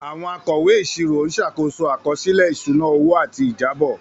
Àwọn akọ̀wé ìṣirò ń ṣàkóso àkọsílẹ̀ ìṣúná owó àti ìjábọ̀.